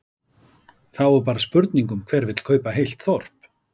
Þá er bara spurning um hver vill kaupa heilt þorp?